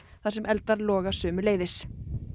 þar sem eldar loga sömuleiðis